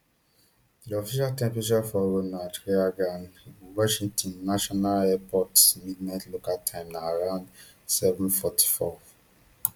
di official temperature for ronald reagan washington national airport midnight local time na around sevenc forty-fourf